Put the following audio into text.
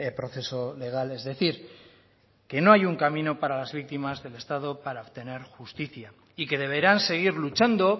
proceso legal es decir que no hay un camino para las víctimas del estado para obtener justicia y que deberán seguir luchando